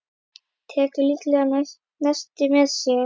Tekur líklega nesti með sér.